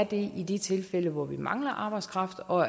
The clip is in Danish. det i de tilfælde hvor vi mangler arbejdskraft og